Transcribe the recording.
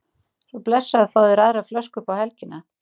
Svo blessaður fáðu þér aðra flösku upp á helgina